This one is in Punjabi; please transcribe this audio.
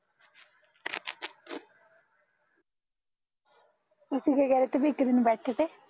ਤੁਸੀਂ ਕਿਆ ਕਹਿ ਰਹੇ ਤੇ ਵੀ ਇੱਕ ਦਿਨ ਬੈਠੇ ਤੇ